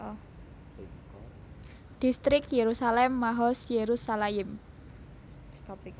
Distrik Yerusalem Mahoz Yerushalayim